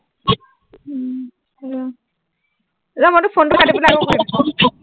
উম ৰ ৰ, মই তোৰ phone টো কাটি পেলাই আকৌ কৰিম